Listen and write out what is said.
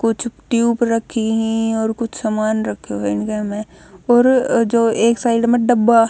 कुछ ट्यूप रखीं हं और कुछ समान रख्यों हं इणकह मह और जो एक साइड म डब्बाह--